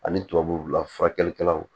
Ani tubabula furakɛlikɛlaw